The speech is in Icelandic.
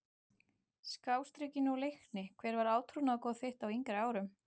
Skástrikinu og Leikni Hver var átrúnaðargoð þitt á yngri árum?